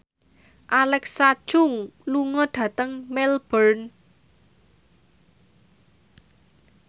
Alexa Chung lunga dhateng Melbourne